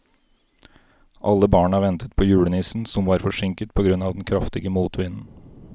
Alle barna ventet på julenissen, som var forsinket på grunn av den kraftige motvinden.